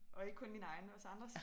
Og ikke kun mine egne også andres